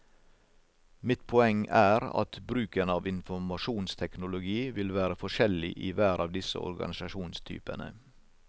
Mitt poeng er at bruken av informasjonsteknologi vil være forskjellig i hver av disse organisasjonstypene.